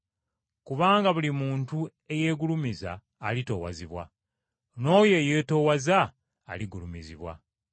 Kubanga buli muntu eyeegulumiza alitoowazibwa; n’oyo eyeetoowaza aligulumizibwa.”